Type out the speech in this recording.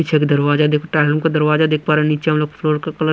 पीछे के दरवाजा देखो टाइलम का दरवाजा देख पा रहे हैं नीचे हम लोग फ्लोर का कलर --